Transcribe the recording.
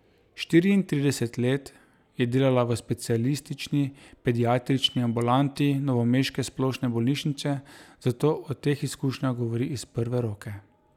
Štiriintrideset let je delala v specialistični pediatrični ambulanti novomeške splošne bolnišnice, zato o teh izkušnjah govori iz prve roke.